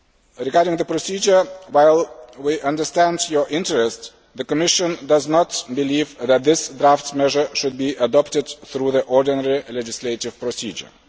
Regarding the procedure, while we understand your interest, the Commission does not believe that this draft measure should be adopted through the ordinary legislative procedure.